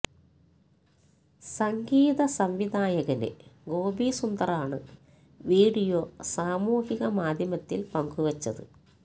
സംഗീത സംവിധായകന് ഗോപി സുന്ദറാണ് വീഡിയോ സാമൂഹിക മാധ്യമത്തില് പങ്കുവെച്ചത്